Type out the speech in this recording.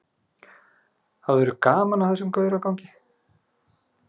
Hafðirðu gaman af þessum gauragangi?